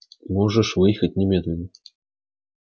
можешь выехать немедленно